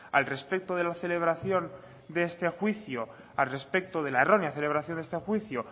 al respecto de la celebración de este juicio al respecto de la errónea celebración de este juicio